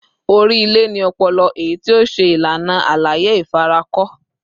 Ori ile ni ọpọlọ, eyiti o ṣe ilana alaye ifarako